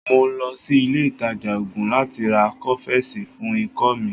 Mo lọ sí ilé ìtajà oògùn láti ra Kófẹ́sì fún ikọ́ mi.